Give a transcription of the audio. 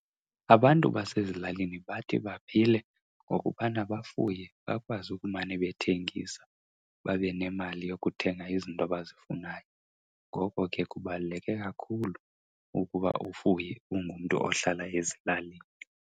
Abantu basezilalini bathi baphile ngokubana bafuye bakwazi ukumane bethengisa babe nemali yokuthenga izinto abazifunayo. Ngoko ke kubaluleke kakhulu ukuba ufuye ungumntu ohlala ezilalini.